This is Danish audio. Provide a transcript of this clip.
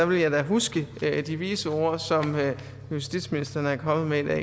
vil jeg huske de vise ord som justitsministeren er kommet med